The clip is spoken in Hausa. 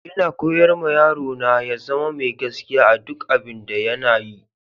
Ina koyar ma yaro na ya zama mai gaskiya a duƙ abin da yana yi.